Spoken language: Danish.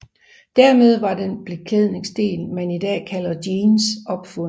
Dermed var den beklædningsdel man i dag kalder jeans opfundet